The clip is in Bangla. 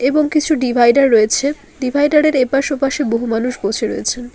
এবং কিছু ডিভাইডার রয়েছে ডিভাইডার -এর এপাশে ওপাশে বহু মানুষ বসে রয়েছেন।